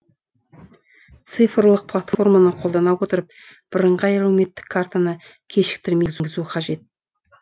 цифрлық платформаны қолдана отырып бірыңғай әлеуметтік картаны кешіктірмей енгізу қажет